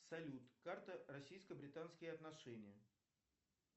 салют карта российско британские отношения